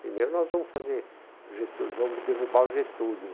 Primeiro nós vamos fazer o Getúlio, vamos derrubar o Getúlio.